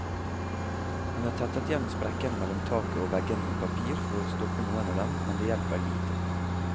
Hun har tettet igjen sprekkene mellom taket og veggene med papir for å stoppe noen av dem, men det hjelper lite.